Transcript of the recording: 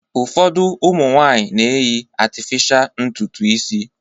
Ụfọdụ ụmụ nwaanyị na-eyi atịfịsha ntutu isi.